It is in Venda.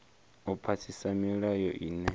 u phasisa milayo ine ya